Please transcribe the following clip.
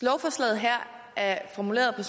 lovforslaget her er formuleret på